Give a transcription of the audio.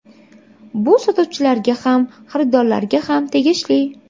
Bu sotuvchilarga ham, xaridorlarga ham tegishli.